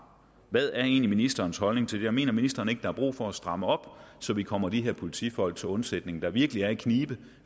hvad er ministerens holdning til det mener ministeren ikke at der er brug for at stramme op så vi kommer de her politifolk til undsætning der virkelig er i knibe